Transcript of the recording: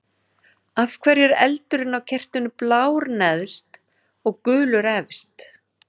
Af hverju er eldurinn á kertinu blár neðst og gulur efst?